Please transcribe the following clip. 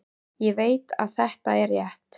Ég veit að þetta er rétt.